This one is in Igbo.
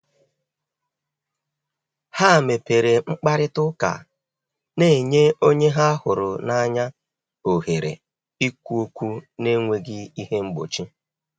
Ha mepere mkparịta ụka, na-enye onye ha hụrụ n’anya ohere ikwu okwu n’enweghị ihe mgbochi.